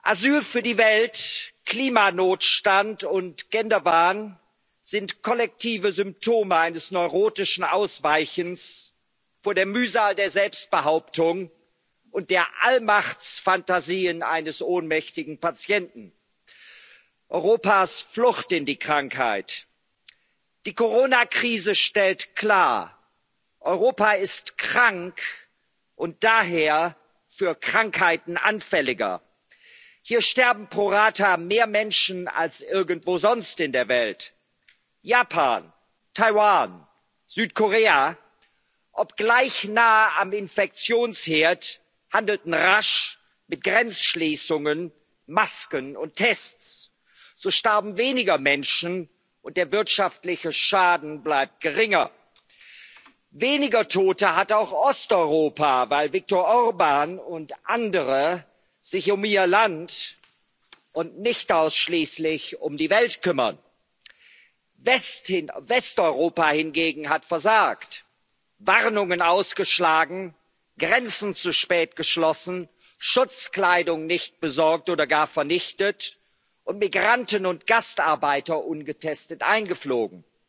Asyl für die Welt, Klimanotstand und Genderwahn sind kollektive Symptome eines neurotischen Ausweichens vor der Mühsal der Selbstbehauptung und der Allmachtsfantasien eines ohnmächtigen Patienten Europas Flucht in die Krankheit. Die Corona Krise stellt klar Europa ist krank und daher für Krankheiten anfälliger. Hier sterben pro rata mehr Menschen als irgendwo sonst in der Welt. Japan, Taiwan, Südkorea, obgleich nahe am Infektionsherd, handelten rasch, mit Grenzschließungen, Masken und Tests. So starben weniger Menschen, und der wirtschaftliche Schaden bleibt geringer. Weniger Tote hat auch Osteuropa, weil Viktor Orbán und andere sich um ihr Land und nicht ausschließlich um die Welt kümmern. Westeuropa hingegen hat versagt, Warnungen ausgeschlagen, Grenzen zu spät geschlossen, Schutzkleidung nicht besorgt oder gar vernichtet und Migranten und Gastarbeiter ungetestet eingeflogen.